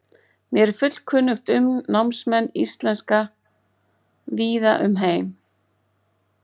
Mér er fullkunnugt um námsmenn íslenska víða um heim.